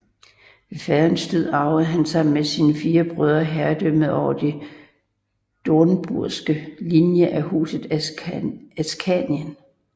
Ved faderens død arvede han sammen med sine fire brødre herredømmet over den dornburgske linje af Huset Askanien